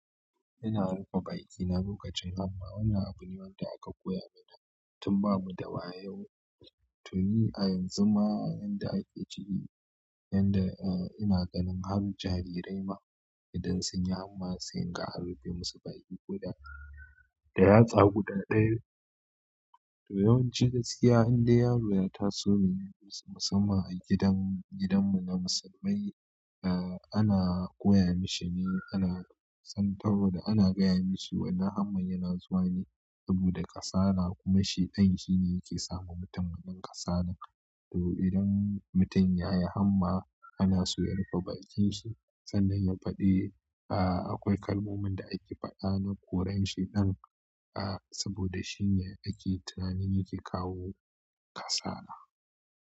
Ina rufe bakina lokacin hamma. Wannan abu ne wanda aka koya mana tun ba mu da wayau. To ni a yanzu ma, yanda ake ciki, inda, uh, ina ganin har jarirai ma idan sun yi hamma, sai in ga an rufe musu baki ko da yatsa guda ɗaya ne. To yawanci gaskiya in dai yaro ya taso ne musamman a gidan, gidan mu na musulmai ah, ana koya mashi ne ana, saboda ana gaya mashi wannan abun yana zuwa ne saboda kasala kuma shaiɗan yake sa ma mutum wannan kasalan. To idan mutum ya yi hamma, ana so ya rufe bakin shi sannan ya faɗi, uh, akwai kalmomin da ake faɗa na ƙurar shaiɗan uh, saboda shi ne ake tunanin yake kawo kasala.